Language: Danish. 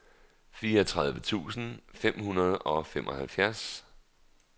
fireogtredive tusind fem hundrede og femoghalvtreds